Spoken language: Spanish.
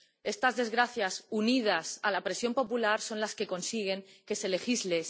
Estas desgracias, unidas a la presión popular, son las que consiguen que se legisle.